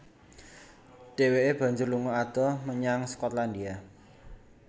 Dheweke banjur lunga adoh menyang Skotlandia